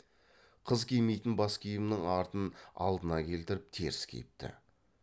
қыз кимейтін бас киімнің артын алдына келтіріп теріс киіпті